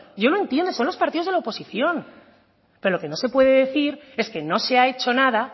yo lo entiendo son los partidos de la oposición pero lo que no se puede decir es que no se ha hecho nada